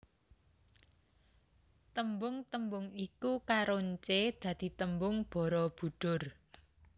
Tembung tembung iku karoncé dadi tembung Barabudhur